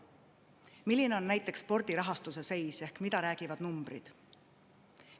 Milline on näiteks spordi rahastuse seis ehk mida räägivad numbrid?